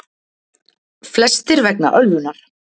Flestir vegna ölvunar